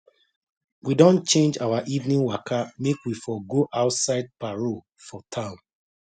we don change our evening waka make we for go outside parole for town